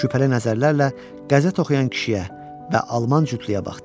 Şübhəli nəzərlərlə qəzet oxuyan kişiyə və Alman cütlüyə baxdı.